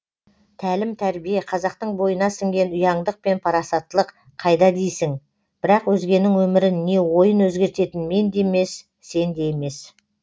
тәлім тәрбие қазақтың бойына сіңген ұяңдық пен парасатттылық қайда дейсің бірақ өзгенің өмірін не ойын өзгертетін мен де емес сен де емес